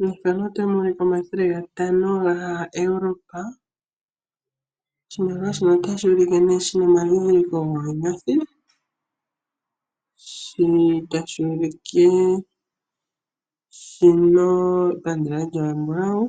Mefano otamu ulike omathele gatano gaEurope. Oshimaliwa shino otashi ne shina omadhidhiliko goonyothi. Sho tashi ulike shina epandela lyawo embulawu.